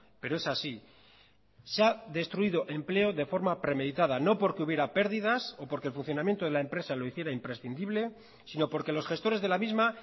pero es así se ha destruido empleo de forma premeditada no porque hubiera pérdidas o porque el funcionamiento de la empresa lo hiciera imprescindible sino porque los gestores de la misma